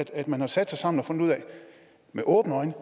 at man har sat sig sammen og med åbne øjne